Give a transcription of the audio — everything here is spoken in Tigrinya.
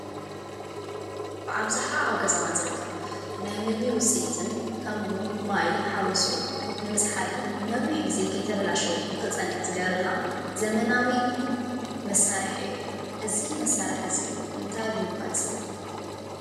ብኣብዝሓ ኣብ ገዛና ዝርከብ ናይ ምግቢ ውፅኢትን ከምኡ እውን ማይ ሓዊሱ ንምዝሓልን ነዊሕ ግዜ ከይተበላሸየ ክፀንሕ ዝገብረልና ዘመናዊ መሳርሒ እዩ። እዚ መሳርሒ እዚ እንታይ ብምባል ይፅዋዕ?